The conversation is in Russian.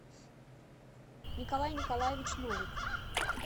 николай николаевич новик